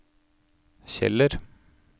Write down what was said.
Kjeller